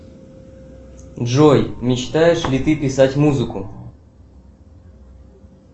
джой мечтаешь ли ты писать музыку